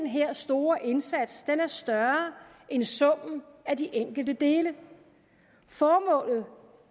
her store indsats er større end summen af de enkelte dele formålet